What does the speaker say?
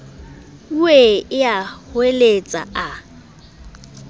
wee ee a hweletsa a